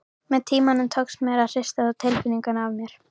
Með tímanum tókst mér að hrista þá tilfinningu af mér.